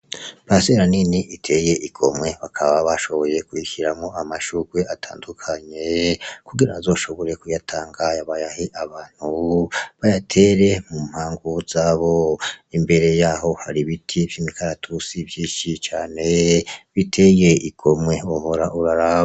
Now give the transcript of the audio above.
Parisera nini iteye igomwe, bakaba bashoboye kuyishiramwo amashugwe atandukanye, kugira azoshobore kuyatanga bayahe abantu bayatere mumpangu zabo, imbere yaho har'ibiti vy'imikaratusi vyinshi cane biteye igomwe wohora uraraba.